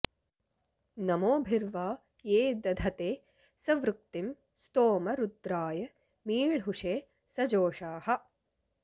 नमो॑भिर्वा॒ ये दध॑ते सुवृ॒क्तिं स्तोमं॑ रु॒द्राय॑ मी॒ळ्हुषे॑ स॒जोषाः॑